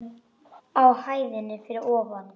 Á hæðinni fyrir ofan.